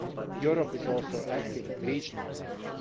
Europe is also active at regional level.